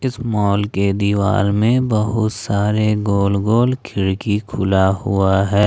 इस मॉल के दीवार में बहुत सारे गोल गोल खिड़की खुला हुआ है।